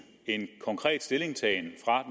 en konkret stillingtagen fra